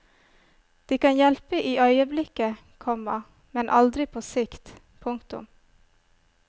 De kan hjelpe i øyeblikket, komma men aldri på sikt. punktum